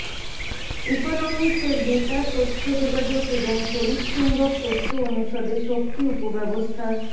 economics এর বেতার তথ্যযোগাযোগ এবং তড়িৎচুম্বক তত্ত্ব অনুষদে শক্তি উপব্যবস্থার